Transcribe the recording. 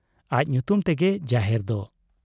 ᱟᱡ ᱧᱩᱛᱩᱢ ᱛᱮᱜᱮ ᱡᱟᱦᱮᱨ ᱫᱚ ᱾